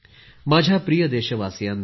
माझ्या प्रिय देशवासियांनो